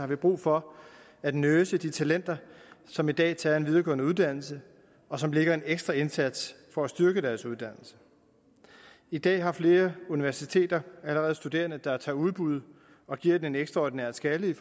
vi brug for at nurse de talenter som i dag tager en videregående uddannelse og som lægger en ekstra indsats for at styrke deres uddannelse i dag har flere universiteter allerede studerende der tager udbud og giver den en ekstraordinær skalle